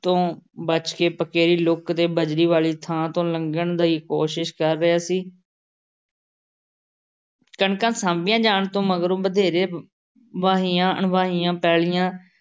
ਤੋਂ ਬਚ ਕੇ ਪਕੇਰੀ ਲੁੱਕ ਤੇ ਬਜਰੀ ਵਾਲ਼ੀ ਥਾਂ ਤੋਂ ਲੰਘਣ ਦੀ ਕੋਸ਼ਿਸ਼ ਕਰ ਰਿਹਾ ਸੀ। ਕਣਕਾਂ ਸਾਂਭੀਆਂ ਜਾਣ ਤੋਂ ਮਗਰੋਂ ਵਧੇਰੇ ਵਾਹੀਆਂ-ਅਣਵਾਹੀਆਂ ਪੈਲ਼ੀਆਂ